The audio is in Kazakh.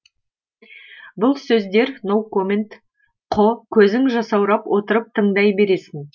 бұл сөздер ноу коммент қо көзің жасаурап отырып тыңдай бересің